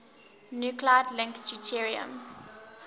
nuclide link deuterium